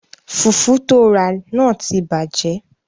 Fùfú tóo rà náà ti bàjẹ́